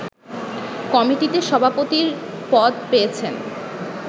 কমিটিতে সভাপতির পদ পেয়েছেন